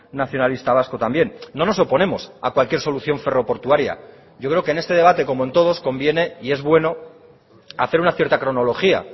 nacionalista vasco también no nos oponemos a cualquier solución ferro portuaria yo creo que en este debate como en todos conviene y es bueno hacer una cierta cronología